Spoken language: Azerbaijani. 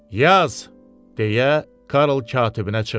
Yaz, - deyə Karl katibinə çığırdı.